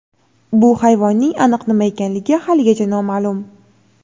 bu hayvonning aniq nima ekanligi haligacha noma’lum.